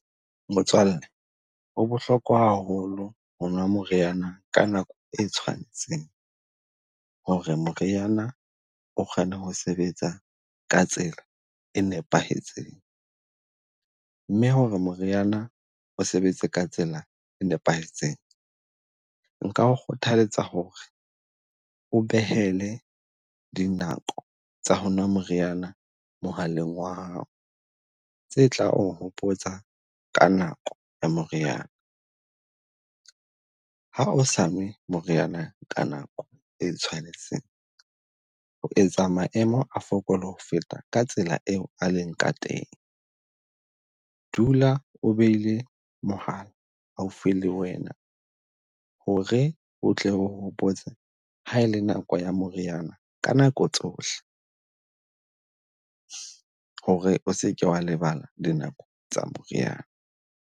Motswalle ho bohlokwa haholo rona moriana ka nako e tshwanetseng ho re moriana o kgone ho sebetsa ka tsela e nepahetseng. Mme ho re moriana o sebetse ka tsela e nepahetseng, nka kgothaletsa ho re o behele dinako tsa ho na moriana mohaleng wa hao. Tse tla o hopotsa ka nako ya moriana, ha o sa nwe moriana ka nako e tshwanetse, o etsa maemo a fokole ho feta ka tsela eo a leng ka teng. Dula o behile mohala haufi le wena ho re o tle o hopotse ha e le nako ya moriana ka nako tsohle, ho re o seke wa lebala dinako tsa moriana.